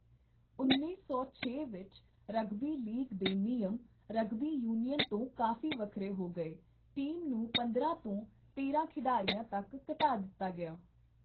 ਉੱਨੀ ਸੌ ਛੇ ਵਿੱਚ ਰਗਬੀ ਲੀਗ ਦੇ ਨਿਯਮ ਰਗਬੀ ਯੂਨੀਅਨ ਤੋਂ ਕਾਫ਼ੀ ਵੱਖਰੇ ਹੋ ਗਏ, ਟੀਮ ਨੂੰ ਪੰਦਰਾਂ ਤੋਂ ਤੇਰਾਂ ਖਿਡਾਰੀਆਂ ਤੱਕ ਘਟਾ ਦਿੱਤਾ ਗਿਆ।